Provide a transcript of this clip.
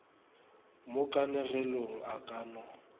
mo kanegelong a ka no